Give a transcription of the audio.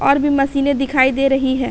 और भी मशीन दिखाई दे रही हैं।